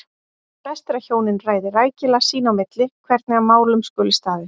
Best er að hjónin ræði rækilega sín á milli hvernig að málum skuli staðið.